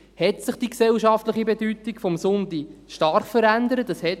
Erstens hat sich die gesellschaftliche Bedeutung des Sonntags stark verändert.